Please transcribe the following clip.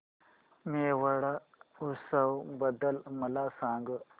मेवाड उत्सव बद्दल मला सांग